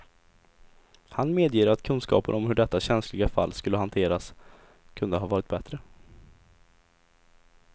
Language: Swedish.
Han medger att kunskapen om hur detta känsliga fall skulle hanterats kunde ha varit bättre.